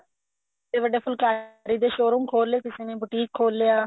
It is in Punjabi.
ਵੱਡੇ ਵੱਡੇ ਫੁਲਕਾਰੀ ਦੇ showroom ਖੋਲ ਲਏ ਕਿਸੇ ਨੇ boutique ਖੋਲ ਲਿਆ